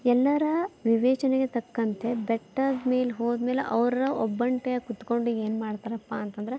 ಎಲ್ಲರ ವಿವೇಚನೆಗೆ ತಕ್ಕಂತೆ ಬೆಟ್ಟದ್ ಮೇಲ್ ಹೋದಮೆಲ್ ಅವ್ರ್ ಒಬ್ಬಂಟಿಯಾಗಿ ಕುತ್ಕೊಂಡ್ ಏನ್ ಮಾಡ್ತಾರಪ್ಪಾ ಅಂತಂದ್ರೆ --